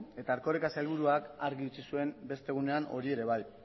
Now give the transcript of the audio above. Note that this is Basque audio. eta erkoreka sailburuak argi utzi zuen beste egunean hori ere bai